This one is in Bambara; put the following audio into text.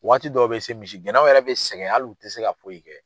Waati dɔw be se misi gɛnnaw yɛrɛ be sɛgɛn hali ti se ka foyi kɛ.